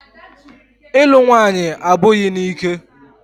Ịlụ nwaanyị abụghị n'ike.